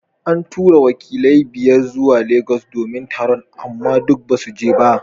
An tura wakilai biyar zuwa lagos domin taron amma duk basu je ba.